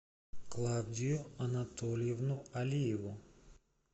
клавдию анатольевну алиеву